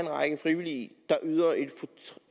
række frivillige der yder et